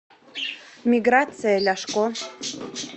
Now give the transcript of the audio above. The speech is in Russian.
миграция ляшко